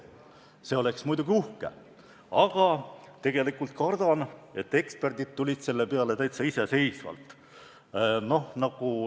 See oleks muidugi uhke, aga tegelikult kardan, et eksperdid tulid selle peale täitsa iseseisvalt.